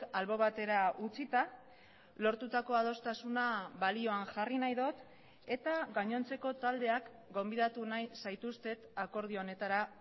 albo batera utzita lortutako adostasuna balioan jarri nahi dut eta gainontzeko taldeak gonbidatu nahi zaituztet akordio honetara